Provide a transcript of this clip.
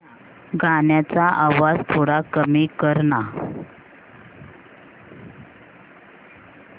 गाण्याचा आवाज थोडा कमी कर ना